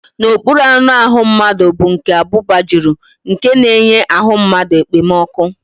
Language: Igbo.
N'okpuru anụahụ mmadụ bụ nke abụba jụrụ nke na-enye ahụ mmadụ ekpomọkụ́